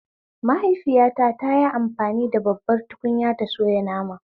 Mahaifiyata tayi amfani da babbar tukunya ta soya nama